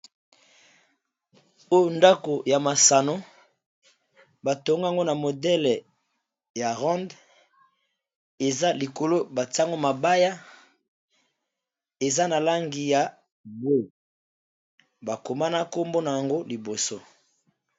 Oyo ndako ya masano batongango na modele ya rond eza likolo bantiyango mabaya, eza na langi ya mbwe bakomana nkombo na yango liboso.